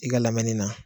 I ka lamɛnni na